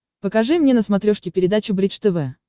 покажи мне на смотрешке передачу бридж тв